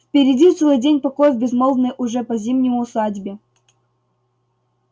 впереди целый день покоя в безмолвной уже по зимнему усадьбе